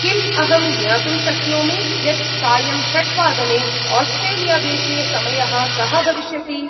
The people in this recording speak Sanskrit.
किम् अहं ज्ञातुं शक्नोमि यत् सायं षड्वादने आस्ट्रेलिया-देशे समयः कः भविष्यति?